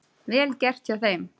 Vel gert hjá þeim.